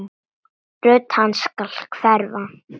Rödd hans skal hverfa.